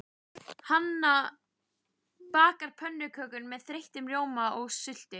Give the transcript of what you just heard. Hanna bakar pönnukökur með þeyttum rjóma og sultu.